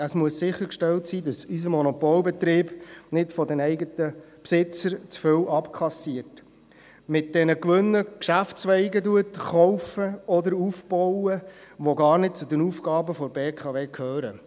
Es muss sichergestellt sein, dass unser Monopolbetrieb nicht von den eigenen Besitzern zu viel abkassiert und mit diesen Gewinnen Geschäftszweige kauft oder aufbaut, die gar nicht zu den Aufgaben der BKW gehören.